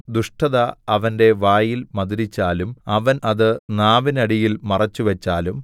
ദുഷ്ടത അവന്റെ വായിൽ മധുരിച്ചാലും അവൻ അത് നാവിനടിയിൽ മറച്ചുവച്ചാലും